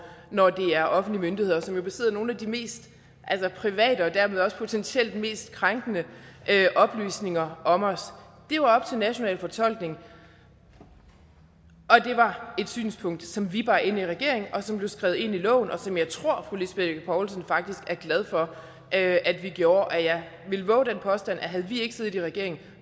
når det er offentlige myndigheder som jo besidder nogle af de mest private og dermed også potentielt mest krænkende oplysninger om os det er jo op til national fortolkning og det var et synspunkt som vi bar ind i regeringen og som blev skrevet ind i loven og som jeg tror fru lisbeth bech poulsen faktisk er glad for at at vi gjorde og jeg vil vove den påstand at havde vi ikke siddet i regering